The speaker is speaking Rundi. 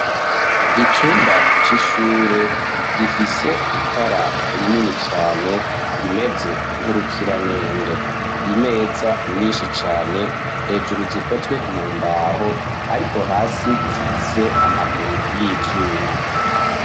icumba c'ishure gifise itara rinini cane rimeze nk'urukiramende, imeza nyinshi cane hejuru zikozwe mu mbaho ariko hasi zifise amaguru y'ivyuma.